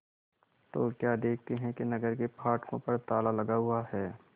तो क्या देखते हैं कि नगर के फाटकों पर ताला लगा हुआ है